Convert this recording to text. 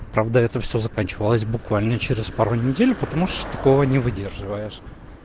правда это всё заканчивалось буквально через пару недель потому что такого не выдерживаешь